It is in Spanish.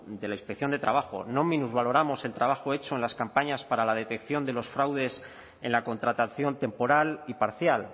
de la inspección de trabajo no minusvaloramos el trabajo hecho en las campañas para la detección de los fraudes en la contratación temporal y parcial